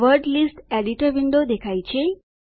word list editor window દેખાય છે